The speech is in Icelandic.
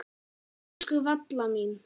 Elsku Valla mín.